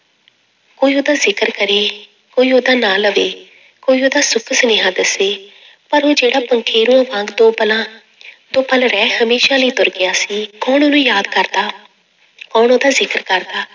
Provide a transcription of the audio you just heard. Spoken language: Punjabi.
ਕੋਈ ਉਹਦਾ ਜ਼ਿਕਰ ਕਰੇ, ਕੋਈ ਉਹਦਾ ਨਾਂ ਲਵੇ, ਕੋਈ ਉਹਦਾ ਸੁੱਭ ਸੁਨੇਹਾਂ ਦੱਸੇ ਪਰ ਉਹ ਜਿਹੜਾ ਵਾਂਗ ਦੋ ਪਲਾਂ ਦੋ ਪਲ ਰਹਿ ਹਮੇਸ਼ਾ ਲਈ ਤੁਰ ਗਿਆ ਸੀ, ਕੌਣ ਉਹਨੂੰ ਯਾਦ ਕਰਦਾ ਕੌਣ ਉਹਦਾ ਜ਼ਿਕਰ ਕਰਦਾ,